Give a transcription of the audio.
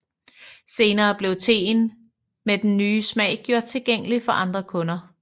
Senere blev teen med den nye smag gjort tilgængelig for andre kunder